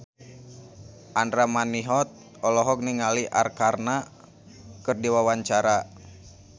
Andra Manihot olohok ningali Arkarna keur diwawancara